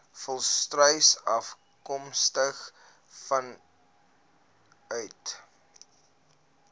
volstruise afkomstig vanuit